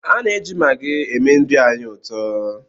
A na-eji magị eme nri anyị ụtọ